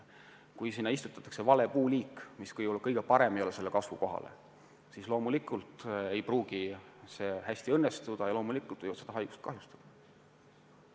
Kui istutatakse vale puuliik, mis sellesse kasvukohta eriti hästi ei sobi, siis loomulikult ei pruugi see ettevõtmine õnnestuda ja loomulikult võivad puistut haigused kahjustada.